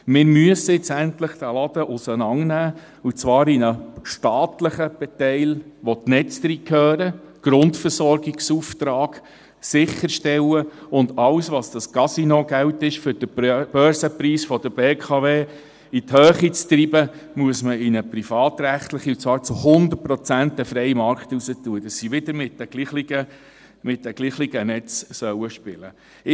Wir müssen nun endlich diesen Laden auseinandernehmen, und zwar in einen staatlichen Teil, in welchen die Netze hineingehören, die den Grundversorgungsauftrag sicherstellen, und alles was das Casinogeld ist, um den Börsenpreis der BKW in die Höhe zu treiben, muss man privatrechtlich zu 100 Prozent in den freien Markt hinaus tun, damit sie wieder mit den gleichen Netzen spielen sollen.